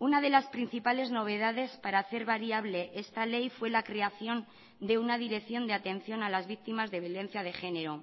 una de las principales novedades para hacer variable esta ley fue la creación de una dirección de atención a las víctimas de violencia de género